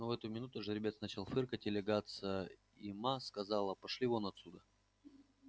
но в эту минуту жеребец начал фыркать и лягаться и ма сказала пошли вон отсюда